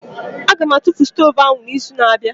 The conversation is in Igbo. Aga m atụfu stovu ahụ n'izu na-abịa